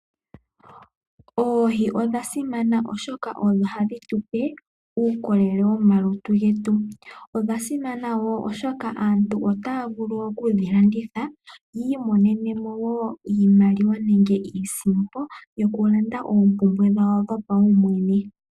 Oohi odha simana oshoka odho hadhi tupe uukolele womalutu getu . Odha simana wo oshoka aantu otaya vulu okudhi landitha yi monenemo wo iimaliwa nenge iisimpo yoku landa oompumbwe dhawo dhopawumwene.